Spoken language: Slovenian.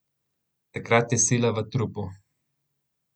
Takrat je sila v trupu.